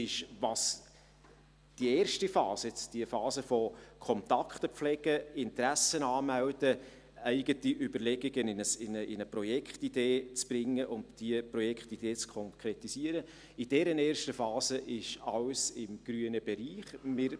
Was die erste Phase betrifft, in der Kontakte gepflegt, Interessen angemeldet und eigene Überlegungen in eine Projektidee gegossen werden und diese Projektidee konkretisiert wird, alles im grünen Bereich liegt.